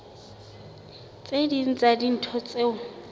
tse ding tsa dintho tseo